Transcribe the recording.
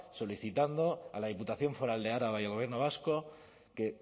solicitando a la diputación foral de araba y al gobierno vasco que